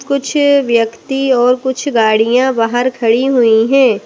कुछ व्यक्ति और कुछ गाड़ियाँ बाहर खड़ी हुई हैं।